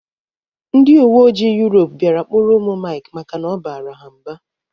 Ndị uweojii Yurop bịara kpụrụ ụmụ Maịk maka na ọ bara ha mba